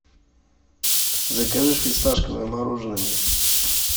закажи фисташковое мороженое мне